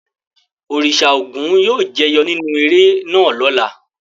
Òrìṣà Ògún yóò jẹyọ nínú eré náà lọ́la.